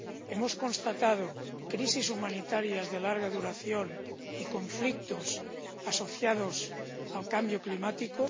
Hemos constatado crisis humanitarias de larga duración y conflictos asociados al cambio climático.